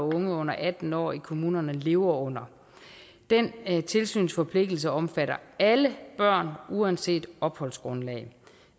og unge under atten år i kommunerne lever under den tilsynsforpligtelse omfatter alle børn uanset opholdsgrundlag